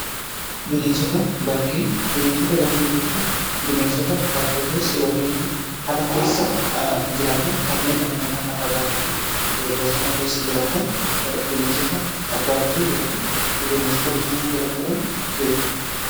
bineensota bakkee jechuun bineensota bakkee keessa yookiin immoo ala keessa jiraatan kanneen dhala namaa irraa fagaatanii bosona keessa jiraatan bineensota bakkee yookiin bineensota bosona jedhamuudhan beekamu.